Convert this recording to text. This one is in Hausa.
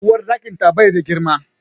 Uwarɗakin ta bai da girma